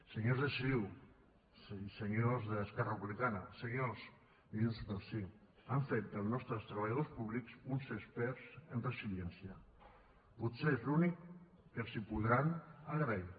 senyors de ciu i senyors d’esquerra republicana senyors de junts pel sí han fet dels nostres treballadors públics uns experts en resiliència potser és l’únic que els podran agrair